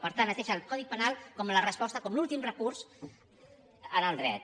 per tant es deixa el codi penal com la resposta com l’últim recurs en el dret